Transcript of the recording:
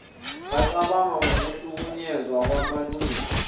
becabanga ngokuhlukunyezwa kwamalungelo